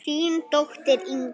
Þín dóttir Ingunn.